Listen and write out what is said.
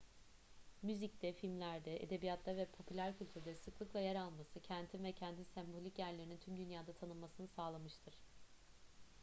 müzikte filmlerde edebiyatta ve popüler kültürde sıklıkla yer alması kentin ve kentin sembolik yerlerinin tüm dünyada tanınmasını sağlamıştır